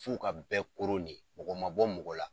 F'u ka bɛɛ koron de, mɔgɔ ma bɔ mɔgɔ la.